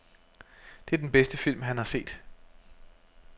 Det er den bedste film, han har set.